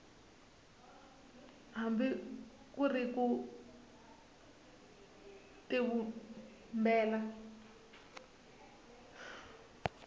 hambi ku ri ku tivumbela